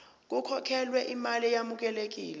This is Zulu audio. kukhokhelwe imali eyamukelekile